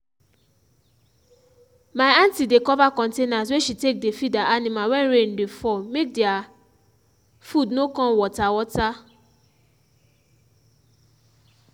my aunty dey cover containers wey she take dey feed her animal wen rain dey fall make their food no con water water.